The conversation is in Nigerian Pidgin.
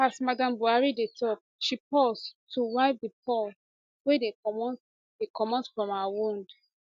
as madam buhari dey tok she pause to wipe di pores wey dey comot dey comot from her wound